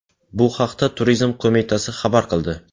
Bu haqda Turizm qo‘mitasi xabar qildi .